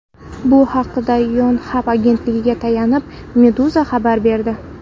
Bu haqda Yonhap agentligiga tayanib, Meduza xabar berdi .